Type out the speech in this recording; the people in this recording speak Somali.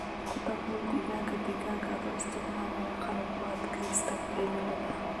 Ku dabool digaagga digaaga adoo isticmaalaya qalab u adkaysta cimilada.